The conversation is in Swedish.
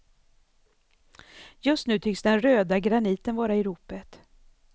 Just nu tycks den röda graniten vara i ropet.